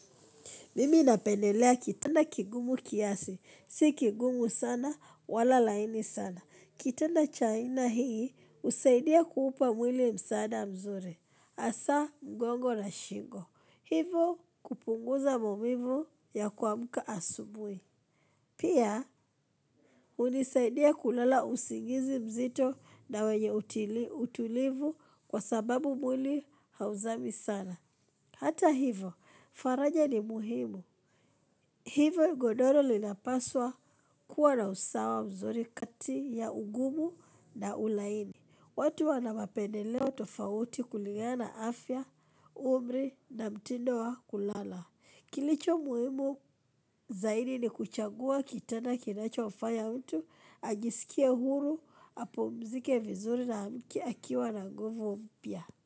Mimi napendelea kitana kigumu kiasi, si kigumu sana, wala laini sana. Kitanda cha aina hii, husaidia kuupa mwili msaada mzuri, hasaa mgongo na shingo. Hivo kupunguza maumivu ya kuamka asubuhi. Pia, unisaidia kulala usingizi mzito na wenye utulivu kwa sababu mwili hauzami sana. Hata hivo, faraja ni muhimu. Hivyo godoro linapaswa kuwa na usawa mzuri kati ya ugumu na ulaini. Watu wana mapendeleo tofauti kuligana na afya, umri na mtindo wa kulala. Kilicho muhimu zaidi ni kuchagua kitanda kinachomfanya mtu, ajisikie huru, apumzike vizuri na aamke akiwa na nguvu mpya.